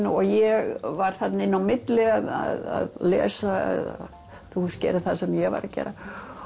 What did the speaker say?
og ég var inn á milli að lesa eða gera það sem ég var að gera